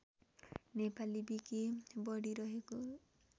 Nepali wiki बढिरहेको